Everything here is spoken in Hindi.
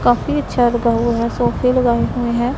काफी अच्छा लगा हुआ है में है।